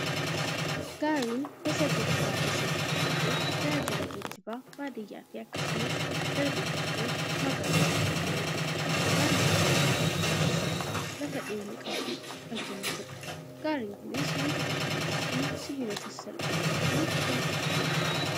Gaarin gosa geejjibaa keessaa tokko taatee, tajaajila geejjibaa baadiyyaafi akkasumas darbee darbee magaalatti kan kennituudha. Gaarin tajaajila geejjibaa sasalphaa lafa dhiyeenya qabdutti kan kennituudha. Gaarin kunis wantoota akka mukaafi sibiloota sasalphoo irraati kan tolfamudha.